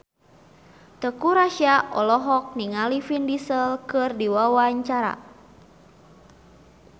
Teuku Rassya olohok ningali Vin Diesel keur diwawancara